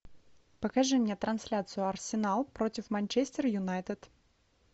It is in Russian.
покажи мне трансляцию арсенал против манчестер юнайтед